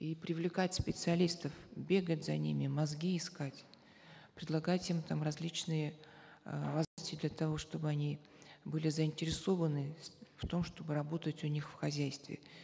и привлекать специалистов бегать за ними мозги искать предлагать им там различные э для того чтобы они были заинтересованы в том чтобы работать у них в хозяйстве